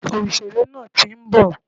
Òsèré nàà ti ń bọ̀